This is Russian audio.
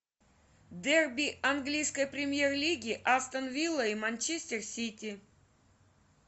дерби английской премьер лиги астон вилла и манчестер сити